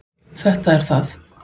Þetta er það.